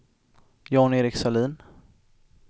Jan-Erik Sahlin